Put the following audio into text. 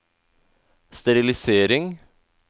sterilisering